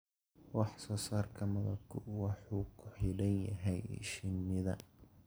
Wax soo saarka malabku wuxuu ku xidhan yahay shinnida.